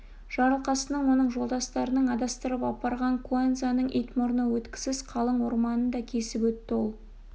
жарылқасынның оның жолдастарының адастырып апарған куанзаның ит мұрны өткісіз қалың орманын да кесіп өтті ол